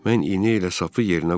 Mən iynə ilə sapı yerinə qoydum.